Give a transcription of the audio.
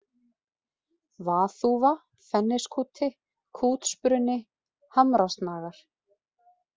Vaðþúfa, Fenniskúti, Kútsbruni, Hamrasnagar